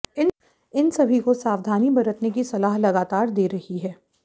इन सभी को सावधानी बरतने की सलाह लगातार दे रही है